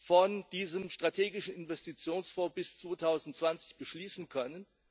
von diesem strategischen Investitionsfonds bis 2020 beschließen können.